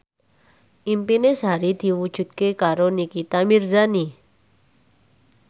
impine Sari diwujudke karo Nikita Mirzani